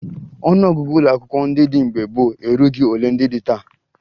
Ọnụọgụgụ ụlọakwụkwọ ndị dị mgbe gboo erughi ole ndị dị taa